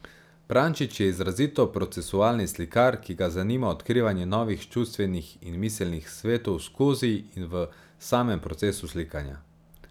Prančič je izrazito procesualni slikar, ki ga zanima odkrivanje novih čustvenih in miselnih svetov skozi in v samem procesu slikanja.